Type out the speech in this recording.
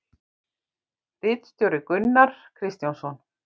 Ritstjóri Gunnar Kristjánsson.